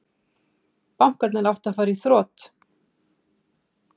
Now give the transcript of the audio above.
Bankarnir áttu að fara í þrot